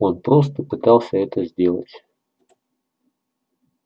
он просто пытался это сделать